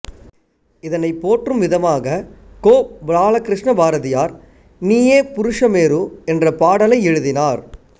இதனைப் போற்றும் விதமாகக் கோபாலகிருஷ்ண பாரதியார் நீயே புருஷ மேரு என்ற பாடலை எழுதினார்